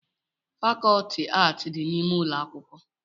fàkọọtị ààtị dị n'ime ụlọ akwụkwọ